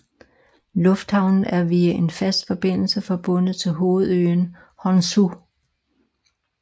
Lufthavnen er via en fast forbindelse forbundet til hovedøen Honshū